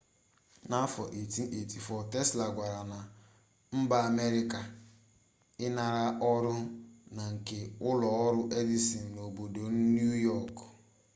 n'afọ 1884 tesla kwagara na mba amerịka ịnara ọrụ na nke ụlọ ọrụ edison n'obodo niu yọk